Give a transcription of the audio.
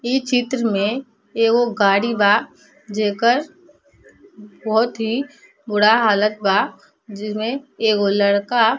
इ चित्र में एगो गाड़ी बा जेकर बोहोत ही बुरा हालत बा जिमें एगो लड़का --